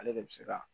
Ale de bɛ se ka